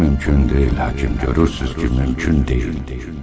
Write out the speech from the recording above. Bu mümkün deyil həkim, görürsüz ki, mümkün deyil.